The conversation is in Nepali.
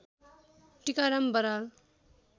टिकाराम बराल